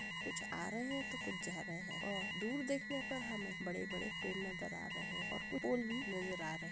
कुछ आ रहे है तो कुछ जा रहे है। और दूर देखने पर हमें वड़े वड़े पेड़ नजर आ रहे है। और कूछ पोल भि नजर आ रहे--